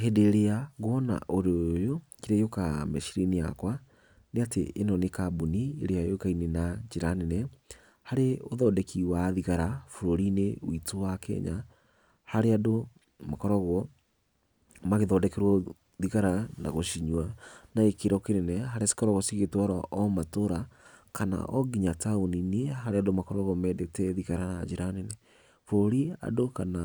Hĩndĩ ĩrĩa nguona ũndũ ũyũ, kĩrĩa gĩũkaga meciriainĩ yakwa, nĩ atĩ ĩno nĩ kambuni ĩrĩa yũikaine na njĩra nene harĩ ũthondeki wa thigara bũrũri-inĩ witũ wa Kenya, harĩa andũ makoragwo magĩthondekerwo thigara na gũcinywa na gĩkĩro kĩnene, harĩa cikoragwo cigĩtwarwo o matũũra, kana o nginya taũni-inĩ harĩa andũ makoragwo mendete thigara na njĩra nene. Bũrũri andũ kana